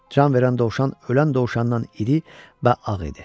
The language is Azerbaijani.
Can verən dovşan ölən dovşandan iri və ağ idi.